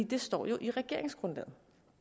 det står jo i regeringsgrundlaget